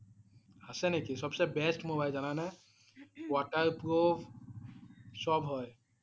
আছে নেকি? সবতচে best mobile যানা নে? waterproof সব হয়